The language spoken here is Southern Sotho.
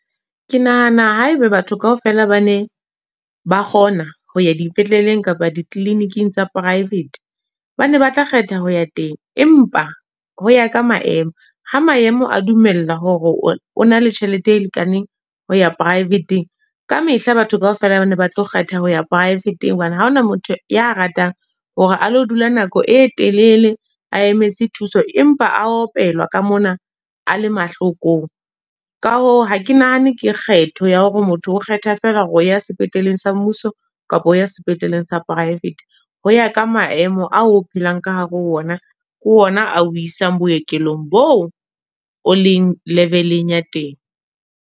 Ke nahana haeba batho kaofela ba ne, ba kgona, ho ya dipetleleng kapa di-clinic-ing tsa private. Ba ne ba tla kgetha ho ya teng. Empa, ho ya ka maemo. Ha maemo a dumella hore o na le tjhelete e lekaneng, ho ya private-ng. Kamehla batho kaofela bana ba tlo kgetha ho ya private, hobane ha hona motho ya ratang hore a lo dula nako e telele, a emetse thuso empa a opelwa ka mona a le mahlokong. Ka hoo, ha ke nahane ke kgetho ya hore motho o kgetha feela hore o ya sepetleleng sa mmuso kapa ho ya sepetleleng sa private. Ho ya ka maemo ao o phelang ka hare ho ona. Ke ona ao isang bookelong bo o o leng level-eng ya teng.